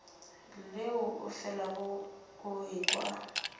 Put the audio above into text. leo o felago o ekwa